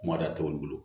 Kuma da t'olu bolo